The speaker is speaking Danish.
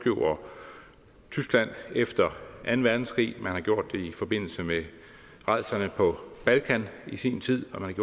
tyskland efter anden verdenskrig man har gjort det i forbindelse med rædslerne på balkan i sin tid og man